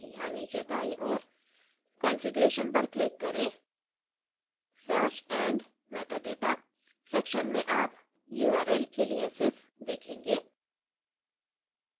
यहाँ नीचे दाईं ओर configuration पर click करें search and metadata section में आप url aliases देखेंगे